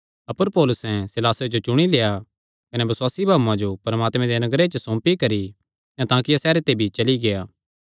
अपर पौलुसैं सीलासे जो चुणी लेआ कने बसुआसी भाऊआं जो परमात्मे दे अनुग्रह च सौंपी करी अन्ताकिया सैहरे ते भी चली गेआ